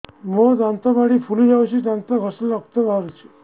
ମୋ ଦାନ୍ତ ମାଢି ଫୁଲି ଯାଉଛି ଦାନ୍ତ ଘଷିଲେ ରକ୍ତ ବାହାରୁଛି